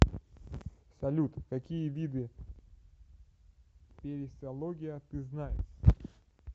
салют какие виды периссология ты знаешь